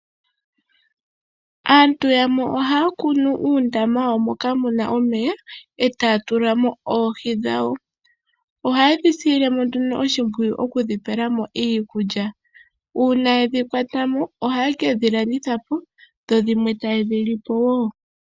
Aantu yamwe ohaya kunu uundama moka mu na omeya e taya tula mo oohi dhawo. Ohaye dhi silile mo oshimpwiyu okudhi pela mo iikulya. Uuna ye dhi kwata mo ohaye ke dhi landitha po, dho dhimwe taye dhi li po wo.